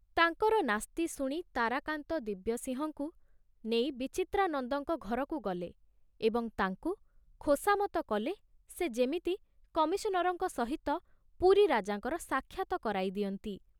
ତାଙ୍କର ନାସ୍ତି ଶୁଣି ତାରାକାନ୍ତ ଦିବ୍ୟସିଂହକୁ ନେଇ ବିଚିତ୍ରାନନ୍ଦଙ୍କ ଘରକୁ ଗଲେ ଏବଂ ତାଙ୍କୁ ଖୋସାମତ କଲେ ସେ ଯେମିତି କମିଶନରଙ୍କ ସହିତ ପୁରୀ ରାଜାଙ୍କର ସାକ୍ଷାତ କରାଇ ଦିଅନ୍ତି।